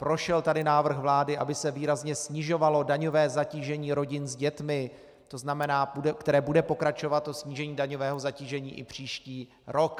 Prošel tady návrh vlády, aby se výrazně snižovalo daňové zatížení rodin s dětmi, které bude pokračovat, to snížení daňového zatížení, i příští rok.